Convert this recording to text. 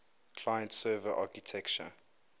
client server architecture